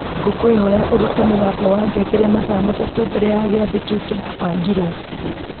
ngũkwĩhoya ũrute mũgambo wa ngengere mathaa matatũ mbere ya gĩathĩ kĩu kĩrabangirwo